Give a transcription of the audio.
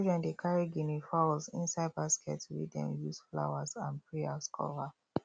children dey carry guinea fowls inside basket wey them use flowers and prayers cover